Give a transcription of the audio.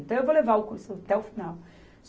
Então, eu vou levar o curso até o final.